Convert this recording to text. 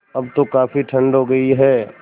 अब तो काफ़ी ठण्ड हो गयी है